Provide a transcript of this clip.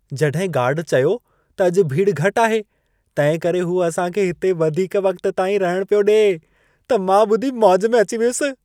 जॾहिं गार्ड चयो त अॼु भीड़ घटि आहे, तंहिंकरे हू असां खे हिते वधीक वक़्त ताईं रहण पियो ॾिए, त मां ॿुधी मौज में अची वियुसि।